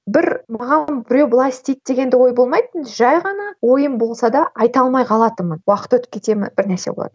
бір маған біреу былай істейік деген де ой болмайтын жай ғана ойым болса да айта алмай қалатынмын уақыт өтіп кете ме бір нәрсе болатын